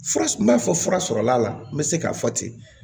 Fura n b'a fɔ fura sɔrɔla la n bɛ se k'a fɔ ten